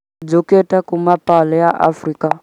Njũkĩte kuma pearl ya Abrika